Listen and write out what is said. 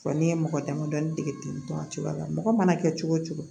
Fɔ n'i ye mɔgɔ damadɔ dege ten tɔ a cogoya la mɔgɔ mana kɛ cogo o cogo